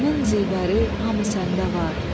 Cahanın zivəri hamı səndə var.